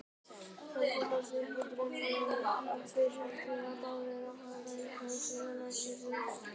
Það kom upp úr dúrnum að þeir ætluðu báðir að fara í háskólann næsta haust.